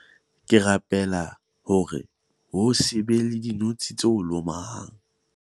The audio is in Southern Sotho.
ke rapela hore ho se be le dinotshi tse o lomang